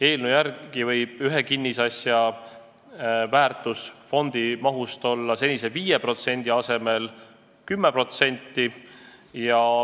Eelnõu järgi võib ühe kinnisasja väärtus fondi mahust olla senise 5% asemel 10%.